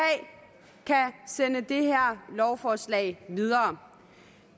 kan sende det her lovforslag videre